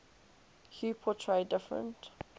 hue portray different